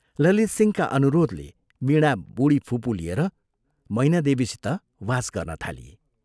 ललितसिंहका अनुरोधले वीणा बूढी फुपू लिएर मैना देवीसित वास गर्न थाली।